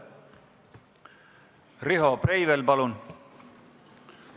Riho Breivel, palun!